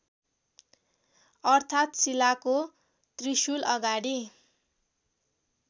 अर्थात् शिलाको त्रिशुलअगाडि